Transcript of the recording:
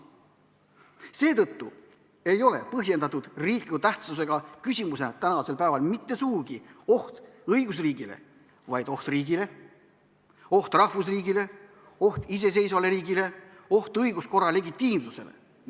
Seetõttu ei ole põhjendatud riikliku tähtsusega küsimus mitte sugugi oht õigusriigile, vaid oht riigile, oht rahvusriigile, oht iseseisvale riigile, oht õiguskorra legitiimsusele.